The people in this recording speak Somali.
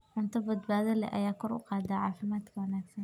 Cunto badbaado leh ayaa kor u qaada caafimaadka wanaagsan.